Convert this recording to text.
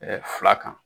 fila kan